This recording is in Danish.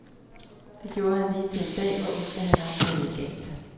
Det gjorde han lige til en dag, hvor ostehandleren gættede galt.